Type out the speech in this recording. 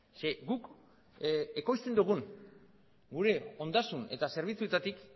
ze guk ekoizten dugun gure ondasun eta zerbitzuetatik